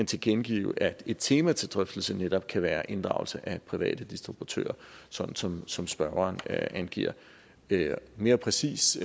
tilkendegive at et tema til drøftelse netop kan være inddragelse af private distributører sådan som som spørgeren angiver mere præcist